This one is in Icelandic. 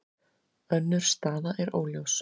Önnur staða er óljós.